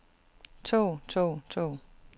tog tog tog